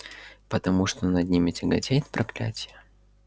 потому что над ними тяготеет проклятье